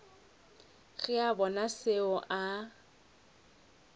ge a bona seo a